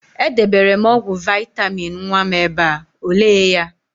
E debere m ọgwụ vaịtamịn nwa m ebe a, o lee ya?